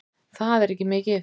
Það er ekki mikið